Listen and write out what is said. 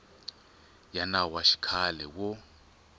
ya nawu wa xikhale wo